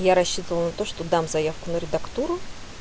я рассчитывал на то что дам заявку на редактуру